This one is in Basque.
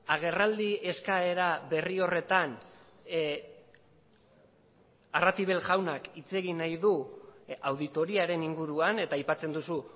agerraldi eskaera berri horretan arratibel jaunak hitz egin nahi du auditoriaren inguruan eta aipatzen duzu